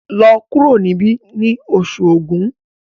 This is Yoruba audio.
lọ kuro nibi ní Oṣù Ògún!